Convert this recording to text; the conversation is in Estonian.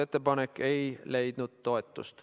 Ettepanek ei leidnud toetust.